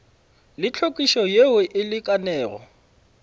le hlwekišo yeo e lekanego